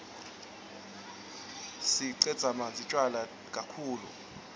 sireqatsamdzi tjwala kaktulu